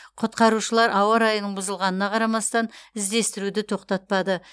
құтқарушылар ауа райының бұзылғанына қарамастан іздестіруді тоқтатпады